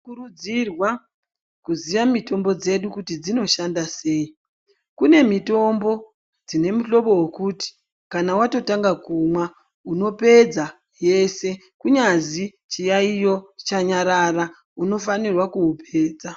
Kurudzirwa kuziya mutombo dzedu kuti dzinoshanda sei kune mitombo dzine muhlobo wekuti kana watotanga kumwa unopedza kumwa yese kunyazi chiyaioyo chanyarara unofanirwa kuupedza.